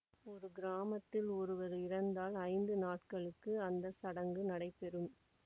ஒரு கிராமத்தில் ஒருவர் இறந்தால் ஐந்து நாட்களுக்கு அந்த சடங்கு நடைபெறும்